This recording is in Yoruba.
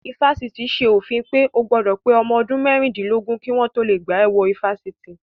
Ifásitì ṣe òfin pé o gbọ́dọ̀ pé ọmọ ọdún mẹ́rìndínlógún kí wọ́n tó lè gbà ẹ wọ ifásitì